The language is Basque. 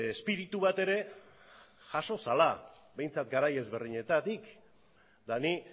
espiritu bat ere jaso zela behintzat garai ezberdinetatik eta ni